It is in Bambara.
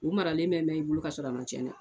U maralen bɛ mɛn i bolo ka sɔrɔ a man cɛn dɛ.